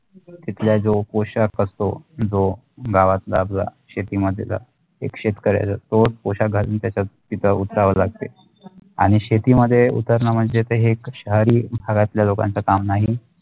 तिथल्या जो पोषाक असतो जो गावातला शेतीमध्ये जात एक शेतकरीया जर तो पोषक घालून त्याचा पिका उचावालागते आणि शेतीमघे उतरणर म्णजे तेहे एक शहरी भागातले लोकांचा काम नाही